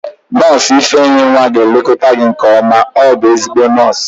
Nọọsụ ifeyinwa ga-elekọta gị nke ọma, ọ bụ ezigbo nọọsụ